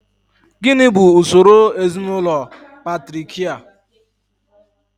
Gịnị bụ usoro ezinaụlọ patriakial?